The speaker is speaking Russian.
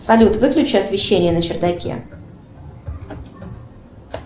салют выключи освещение на чердаке